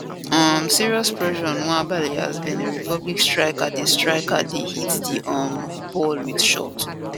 um serious pressure on nwabali as benin republic striker dey striker dey hit di um ball wit shot